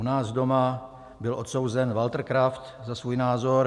U nás doma byl odsouzen Walter Kraft za svůj názor.